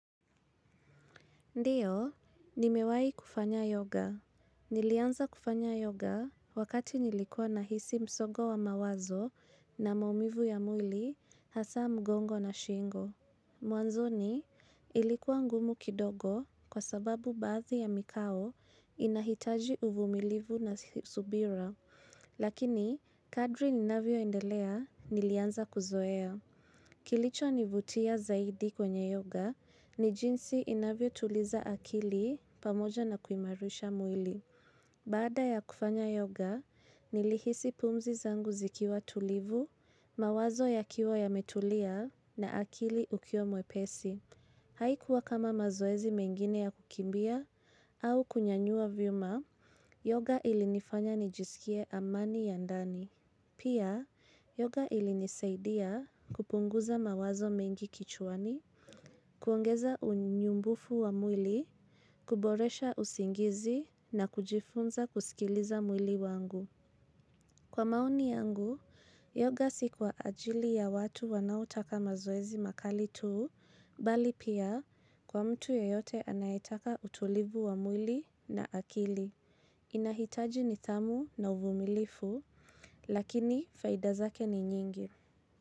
Ndiyo, nimewahi kufanya yoga. Nilianza kufanya yoga wakati nilikuwa na hisi msogo wa mawazo na maumivu ya mwili hasa mgongo na shingo. Mwanzoni, ilikuwa ngumu kidogo kwa sababu baadhi ya mikao inahitaji uvumilivu na subira, lakini kadri ninavyo indelea nilianza kuzoea. Kilicho nivutia zaidi kwenye yoga ni jinsi inavyo tuliza akili pamoja na kuimarisha mwili. Baada ya kufanya yoga, nilihisi pumzi zangu zikiwa tulivu, mawazo ya kiwa ya metulia na akili ukiwa mwepesi. Haikuwa kama mazoezi mengine ya kukimbia au kunyanyua viuma, yoga ilinifanya nijisikie amani ya ndani. Pia, yoga ili nisaidia kupunguza mawazo mengi kichuani, kuongeza unyumbufu wa mwili, kuboresha usingizi na kujifunza kusikiliza mwili wangu. Kwa maoni yangu, yoga si kwa ajili ya watu wanaotaka mazoezi makali tuu, bali pia kwa mtu yoyote anayetaka utulivu wa mwili na akili. Inahitaji nithamu na uvumilivu, lakini faida zake ni nyingi.